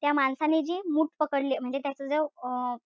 त्या माणसाने जी मूठ पकडली त्याच जो अं